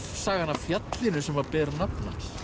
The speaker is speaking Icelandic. sagan af fjallinu sem ber nafn